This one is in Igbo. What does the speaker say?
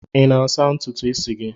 I na-asa ntutu isi gị?